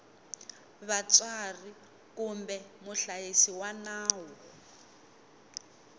vatswari kumbe muhlayisi wa nawu